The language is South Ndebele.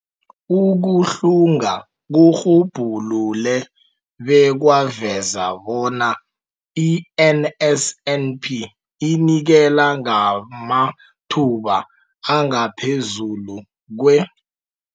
Ukuhlunga kurhubhulule bekwaveza bona i-NSNP inikela ngamathuba angaphezulu kwe-